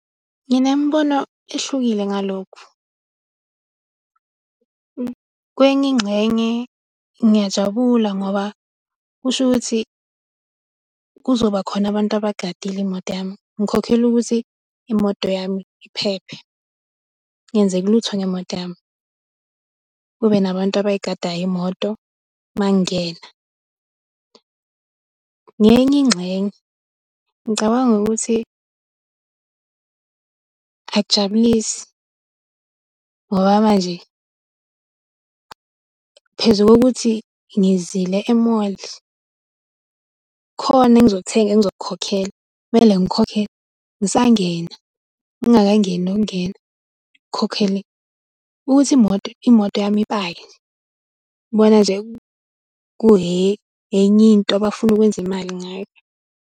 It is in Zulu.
Nginemibono ehlukile ngalokhu. Kwenye ingxenye, ngiyajabula ngoba kusho ukuthi kuzoba khona abantu abagadile imoto yami, ngikhokhela ukuthi imoto yami iphephe, kungenzeki lutho ngemoto yami, kube nabantu abayigadayo imoto uma ngingena. Ngenye ingxenye, ngicabanga ukuthi akujabulisi ngoba manje phezu kokuthi ngizile emoli, khona engizokuthenga engizokukhokhela kumele ngikhokhe, ngisangena ngingakangeni nokungena ngikhokhele ukuthi imoto, imoto yami ipake. Ngibona nje enye into abafuna ukwenza imali ngayo.